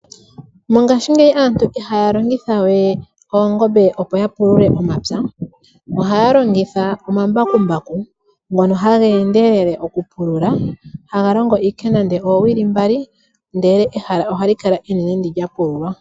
Mongaashingeyi aantu iha ya longithawe oongombe opo ya pulule omapya oha ya longitha omambakumbaku ngono ha geendelele okupulula haga longo ashike nande ooowili mbali ndele ehala oha li kala enene ndi lya pululwa.